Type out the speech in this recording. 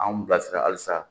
Anw bilasira halisa